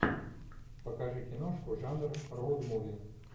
покажи киношку жанр роуд муви